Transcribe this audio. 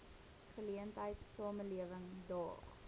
geleentheid samelewing daag